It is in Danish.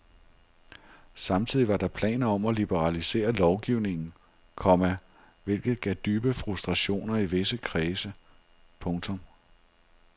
Samtidig var der planer om at liberalisere lovgivningen, komma hvilket gav dybe frustrationer i visse kredse. punktum